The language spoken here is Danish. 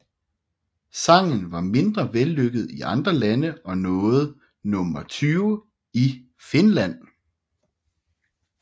Sangen var mindre vellykket i andre lande og nåede nummer 20 i Finland